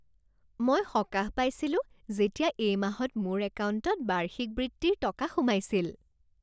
মই সকাহ পাইছিলো যেতিয়া এই মাহত মোৰ একাউণ্টত বাৰ্ষিক বৃত্তিৰ টকা সোমাইছিল।